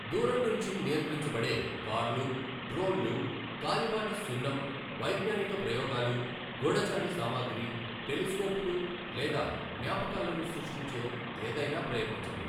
దూరం నుంచి నియంత్రించబడే కార్లు, డ్రోన్లు, కాలిబాట సున్నం, వైజ్ఞానిక ప్రయోగాలు, గూఢచారి సామాగ్రి, టెలిస్కోపులు లేదా జ్ఞాపకాలను సృష్టించే ఏదైనా ప్రయత్నించండి.